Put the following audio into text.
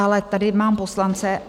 Ale tady mám poslance.